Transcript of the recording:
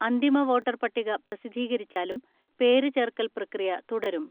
അന്തിമ വോട്ടർ പട്ടിക പ്രസിദ്ധീകരിച്ചാലും പേര് ചേർക്കൽ പ്രക്രിയ തുടരും.